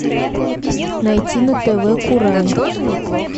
найти на тв курай